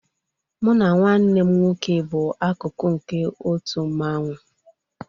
Mụ na nwanne m nwoke bụ akụkụ nke otu mmanwu